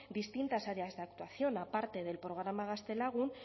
distintas áreas de actuación aparte del programa gaztelagun